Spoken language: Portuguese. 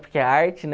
Porque é arte, né?